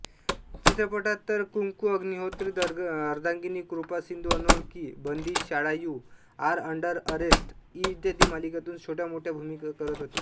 चित्रपटात तर कुंकूअग्निहोत्र अर्धांगिनी कृपासिंधुअनोळखी बंदीशाळायु आर अंडरअरेस्ट इ मालिकांमधुन छोट्यामोठ्या भुमिका करत होतो